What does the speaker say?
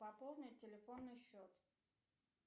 пополнить телефонный счет